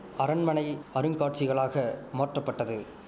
அரண்மனை அருங்காட்சிகளாக மாற்றப்பட்டது